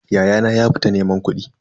Ya'yana ya fita neman kudi.